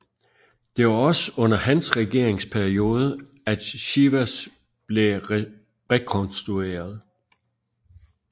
Det var også under hans regeringsperiode at Sivas blev rekonstrueret